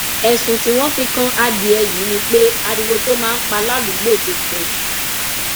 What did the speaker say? ẹsùn tí wọn fi kan adìẹ yìí ni pé ariwo tó máa ń pa ládùúgbò ti pọ jù